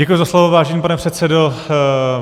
Děkuji za slovo, vážený pane předsedo.